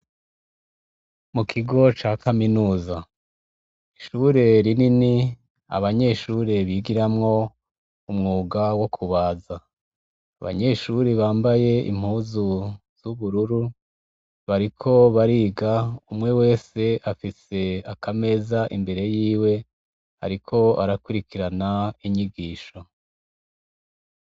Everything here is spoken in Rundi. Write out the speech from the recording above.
mu kigo ca kaminuza ishure rinini abanyeshure bigiramwo umwuga wo kubaza abanyeshuri bambaye impuzu z'ubururu bariko bariga umwe wese afise akameza imbere yiwe ariko arakurikirana inyigisho